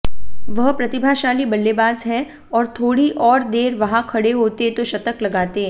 वह प्रतिभाशाली बल्लेबाज हैं और थोड़ी और देर वहां खड़े होते तो शतक लगाते